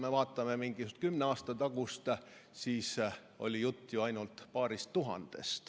Kui vaatame kümne aasta tagust aega, siis võime näha, et juttu oli ju ainult paarist tuhandest.